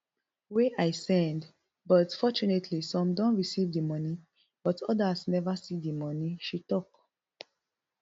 wey i send but fortunately some don receive di money but odas neva see di money she tok